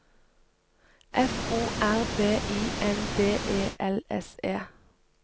F O R B I N D E L S E